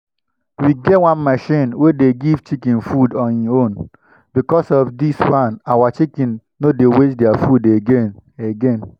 we get one machine wey dey give chicken food on hin own. because of this one our chicken no dey waste their food again. again.